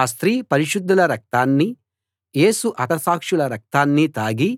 ఆ స్త్రీ పరిశుద్ధుల రక్తాన్నీ యేసు హతసాక్షుల రక్తాన్నీ తాగి